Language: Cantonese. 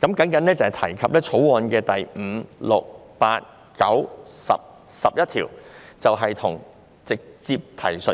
只提及《條例草案》第5、6、8、9、10及11條所提的修訂關乎直接提述。